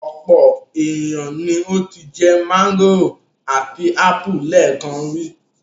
Ọ̀pọ̀ ènìyàn ni ó ti jẹ mángòrò àti ápù lẹ́ẹ̀kan rí.